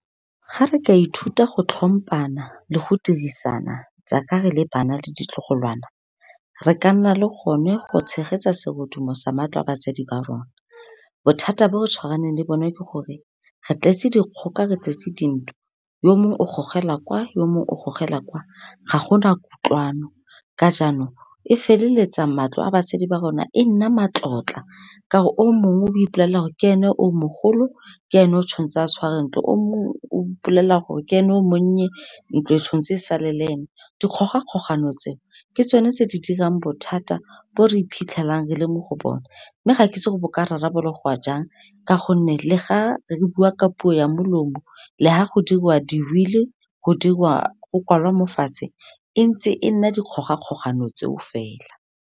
Ga re ka ithuta go tlhompana le go dirisana jaaka re le bana le ditlogolwana, re ka nna le gone go tshegetsa serodumo sa matlo a batsadi ba rona. Bothata bo re tshwaraneng le bone ke gore, re tletse dikgoka, re tletse dintwa, yo mongwe o gogela kwa, yo mongwe o gogela kwa, ga gona kutlwano, ka jaanong, e feleletsa matlo a batsadi ba rona e nna matlotla, ka gore o mongwe o ipolaela gore ke ene o mogolo, ke ene o tshwan'tse a tshware ntlo, o mongwe o ipolelela gore ke ene o monnye, ntlo e tshwan'tse e sale le ene. Dikgogakgogano tseo, ke tsone tse di dirang bothata bo re iphitlhelang re le mo go bone, mme ga kitse bo ka rarabologwa jang, ka gonne le ga re bua ka puo ya molomo, le fa go diriwa di-will-i go kwalwa mo fatshe, e ntse e nna dikgogakgogano tseo fela.